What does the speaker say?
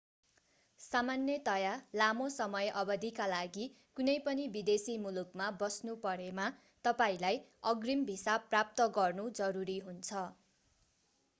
सामान्यतया लामो समय अवधिका लागि कुनै पनि विदेशी मुलुकमा बस्नु परेमा तपाईंलाई अग्रिम भिसा प्राप्त गर्नु जरुरी हुन्छ